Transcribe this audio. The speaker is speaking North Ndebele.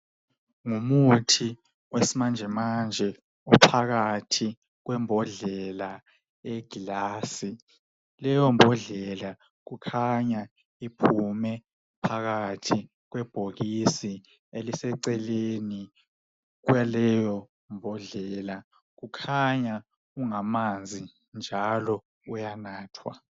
Ngumuthi wesimanjemanje uphakathi kwembodlela eyeglasi leyombodlela kukhanya iphume phakathi kwebhokisi eliseceleni kwaleyo mbodlela. Ukhanya ungamanzi njalo uyanathwa